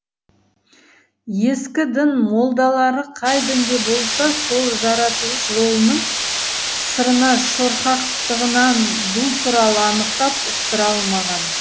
ескі дін молдалары қай дінде болса сол жаратылыс жолының сырына шорқақтығынан бұл туралы анықтап ұқтыра алмаған